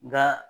Nga